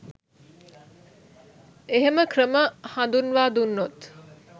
එහෙම ක්‍රම හඳුන්වා දුන්නොත්